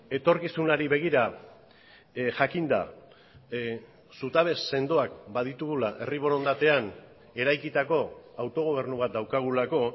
etorkizunari begira jakinda zutabe sendoak baditugula herri borondatean eraikitako autogobernu bat daukagulako